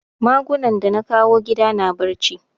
Magunan da na kawo gida na barci